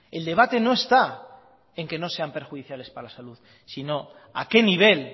el debate no está en que no sean perjudiciales para la salud sino a qué nivel